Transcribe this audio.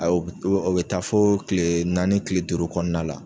Awɔ o bɛ taa fɔ kile naani kile duuru kɔnɔna na.